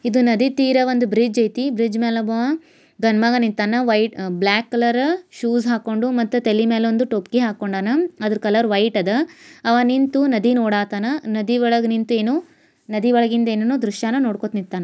ಇದು ನದಿ ತೀರ ಒಂದ್ ಬ್ರಿಡ್ಜ್ ಐತಿ ಬ್ರಿಡ್ಜ್ ಮೇಲ ಒಬ್ಬ ಗಂಡ್ ಮಗ ನಿಂತಾನ ವೈಟ್ ಬ್ಲಾಕ್ ಕಲರು ಶೂ ಹಾಕೊಂಡು ಮತ್ತೆ ತಲೆ ಮೇಲೆ ಒಂದು ಟೋಪಿ ಹಾಕೊಂಡನ ಆದ್ರೂ ಕಲರ್ ವೈಟ್ ಅದ ಅವ ನಿಂತು ನದಿ ನೋಡಾತ್ತಾನಾ ನದಿ ಒಳಗೆ ನಿಂತು ಏನೋ ನದಿ ಒಳಗಿಂದ ಏನೇನೋ ದೃಶ್ಯ ನೋಡ್ಕೊಂತ ನಿಂತಾನ.